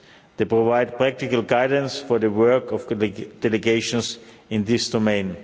They provide practical guidance for the work of delegations in this domain.